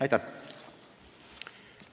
Aitäh!